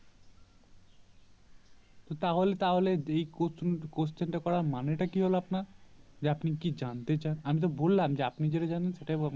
তো তাহলে তাহলে এই question টা করার মানে তা কি হলো আপনার যে আপনি কি জানতে চান আমি তো বললাম আপনি যেটা জানেন সেটাই